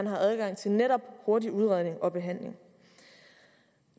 har adgang til netop hurtig udredning og behandling